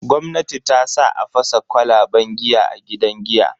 Gwamnati tasa a fasa kwalaban giya a gidan giya.